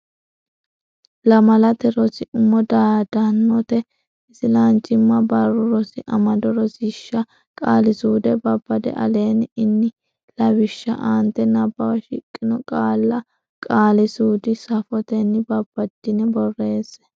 Lamalate Rosi Umo Dodaanote Isilanchimma Barru Rosi Amado Rosiishsha Qaali suude Babbada Aleenni ini lawishshi aante Nabbawa shiqqino qaalla qaali suudunni sufotenni babbaddine borreesse.